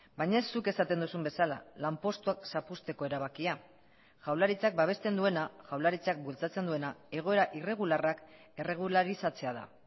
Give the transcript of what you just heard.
baina ez zuk esaten duzun bezala lanpostuak zapuzteko erabakia jaurlaritzak babesten duena jaurlaritzak bultzatzen duena egoera irregularrak erregularizatzea da